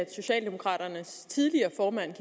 at socialdemokraternes tidligere formand